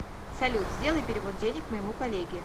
салют сделай перевод денег моему коллеге